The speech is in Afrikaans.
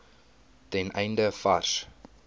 ten einde vars